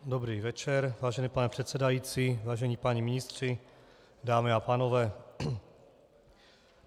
Dobrý večer, vážený pane předsedající, vážení páni ministři, dámy a pánové.